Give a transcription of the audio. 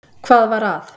Hvað var að?